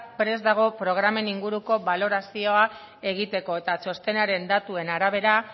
prest dago programen inguruko balorazio egiteko eta txostenaren datuen arabera